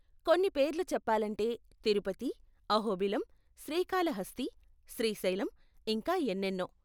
కొన్ని పేర్లు చెప్పాలంటే తిరుపతి, అహోబిలం, శ్రీకాళహస్తి, శ్రీశైలం, ఇంకా ఎనెన్నో .